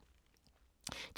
DR1